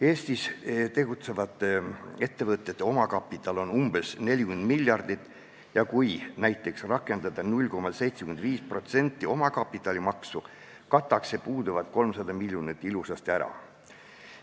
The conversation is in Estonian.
Eestis tegutsevate ettevõtete omakapital on umbes 40 miljardit ja kui näiteks rakendada 0,75% omakapitalimaksu, kataks see puuduvad 300 miljonit ilusasti ära.